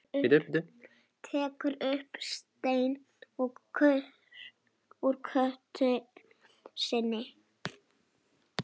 Tekur upp stein úr götu sinni.